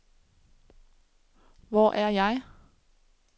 Hvor er jeg